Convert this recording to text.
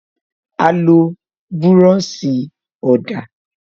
A lo búròsì ọ̀dà